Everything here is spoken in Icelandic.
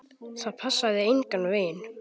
Það passaði engan veginn.